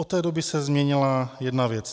Od té doby se změnila jedna věc.